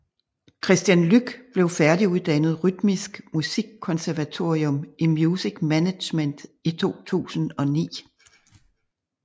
Kristian Luc blev færdiguddannet Rytmisk Musikkonservatorium i Music Management i 2009